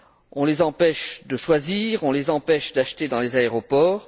On les empêche de choisir, on les empêche d'acheter dans les aéroports.